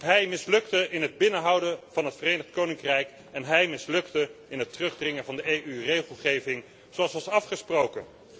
Hij mislukte in het binnenhouden van het Verenigd Koninkrijk en hij mislukte in het terugdringen van de EU regelgeving zoals was afgesproken.